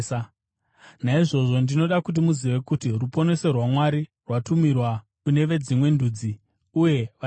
“Naizvozvo ndinoda kuti muzive kuti ruponeso rwaMwari rwatumirwa kune veDzimwe Ndudzi, uye vachanzwa!”